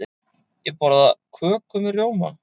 Ég borða köku með rjóma.